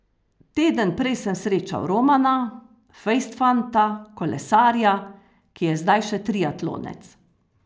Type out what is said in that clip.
Teden prej sem srečal Romana, fejst fanta, kolesarja, ki je zdaj še triatlonec.